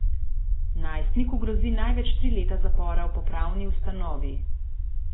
Najstniku grozi največ tri leta zapora v popravni ustanovi.